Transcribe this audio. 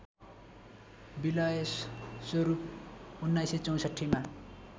विलय स्वरूप १९६४ मा